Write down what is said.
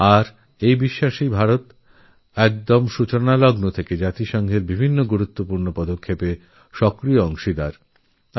আর এই বিশ্বাসের জন্য শুরু থেকে ভারত রাষ্ট্রসঙ্ঘেরবিভিন্ন গুরুত্বপূর্ণ উদ্যোগে সক্রিয় অবদান রেখে চলেছে